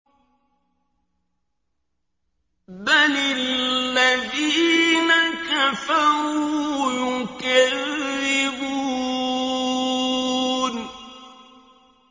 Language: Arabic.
بَلِ الَّذِينَ كَفَرُوا يُكَذِّبُونَ